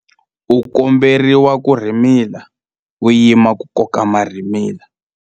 u komberiwa ku rhimila u yima ku koka marhimila